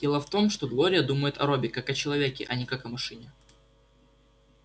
дело в том что глория думает о робби как о человеке а не как о машине